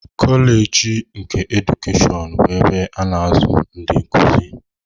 Koleeji nke Edukeshọn bụ ebe a na-azụ ndị nkuzi.